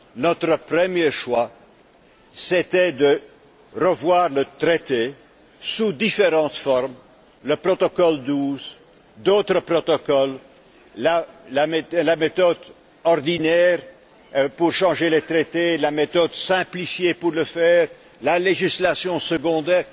Notre premier choix était de revoir le traité sous différentes formes, le protocole 12, d'autres protocoles, la méthode ordinaire pour changer les traités, la méthode simplifiée pour le faire, la législation secondaire.